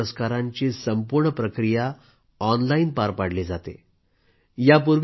आज पद्म पुरस्कारांची संपूर्ण प्रक्रिया ऑनलाईन पार पाडली जाते